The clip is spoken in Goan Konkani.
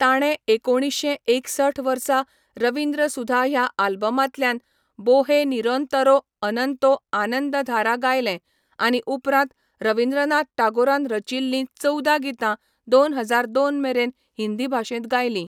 ताणें एकुणीश्शें एकसठ वर्सा रवींद्र सुधा ह्या आल्बमांतल्यान बोहे निरोंतरो अनंतो आनंदधारा गायलें, आनी उपरांत रवींद्रनाथ टागोरान रचिल्लीं चवदा गितां दोन हजार दोन मेरेन हिंदी भाशेंत गायलीं.